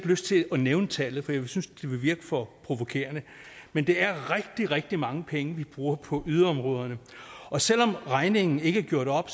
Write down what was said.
lyst til at nævne tallet for jeg synes at det vil virke for provokerende men det er rigtig rigtig mange penge vi bruger på yderområderne og selv om regningen ikke er gjort op